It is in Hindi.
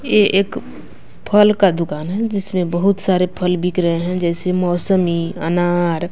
ये एक फल का दुकान है जिसमें बहुत सारे फल बिक रहे हैं जैसे मौसमी अनार--